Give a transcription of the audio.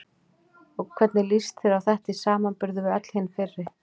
Og hvernig líst þér á þetta í samanburði við öll hin fyrri?